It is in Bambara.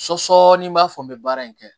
Sɔsɔ ni n b'a fɔ n bɛ baara in kɛ